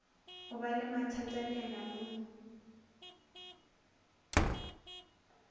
o ba le mathatanyana mo